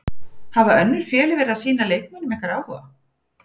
Hafa önnur félög verið að sýna leikmönnum ykkar áhuga?